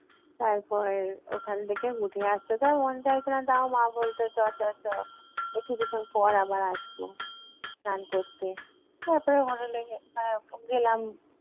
তারপর ওখান থেকে উঠে আসতে তো আর মন চাইতো না তাও মা বলতো চল চল চল, এই কিছুক্ষণ পর আবার আসবো স্নান করতে। তারপরে hotel এ গে~ এর গেলাম